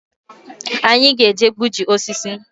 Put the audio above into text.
Anyị ga-eje igbuji osisi